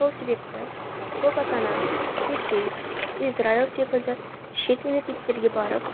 сол себепті көп ата ана ресей израиль секілді шет мемлекеттерге барып